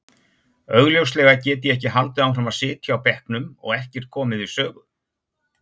Augljóslega get ég ekki haldið áfram að sitja á bekknum og ekkert komið við sögu.